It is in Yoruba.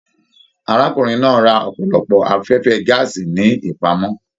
Arákùnrin náà rà ọpọlọpọ afẹfẹ gàásí ní ipamọ.